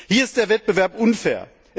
Hier ist der Wettbewerb unfair.